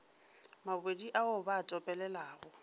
mabodi ao ba a topelelago